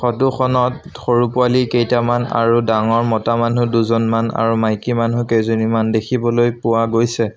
Photo খনত সৰু পোৱালী কেইটামান আৰু ডাঙৰ মতা মানুহ দুজনমান আৰু মাইকীমানুহ কেইজনীমান দেখিবলৈ পোৱা গৈছে।